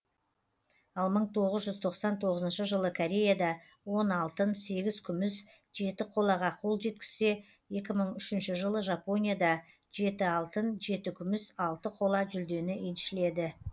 ал мың тоғыз жүз тоқсан тоғызыншы жылы кореяда он алтын сегіз күміс жеті қолаға қол жеткізсе екі мың үшінші жылы жапонияда жеті алтын жеті күміс алты қола жүлдені еншіледі